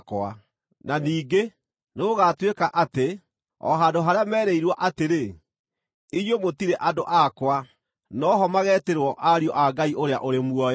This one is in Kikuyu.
na ningĩ, “Nĩgũgatuĩka atĩ, o handũ harĩa meerĩirwo atĩrĩ, ‘Inyuĩ mũtirĩ andũ akwa,’ no ho mageetĩrwo ‘ariũ a Ngai ũrĩa ũrĩ muoyo’.”